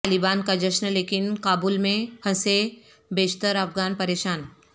طالبان کا جشن لیکن کابل میں پھنسے بیشتر افغان پریشان